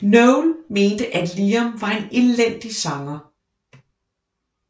Noel mente at Liam var en elendig sanger